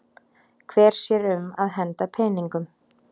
Hver sér um að henda peningum?